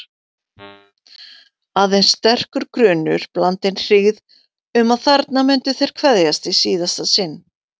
Aðeins sterkur grunur, blandinn hryggð, um að þarna myndu þeir kveðjast í síðasta sinn.